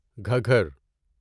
Ghaggar